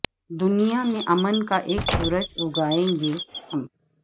دنیا میں امن کا اک سورج اگائے گے ہم